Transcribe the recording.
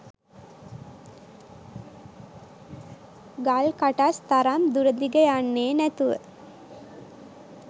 ගල් කටස් තරම් දුර දිග යන්නෙ නැතුව